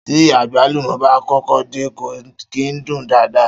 Tí àgbálùmó bá kọ́kọ́ dé, kò kìí dún daadaa.